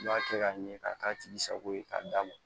I b'a kɛ ka ɲɛ ka k'a tigi sago ye k'a d'a ma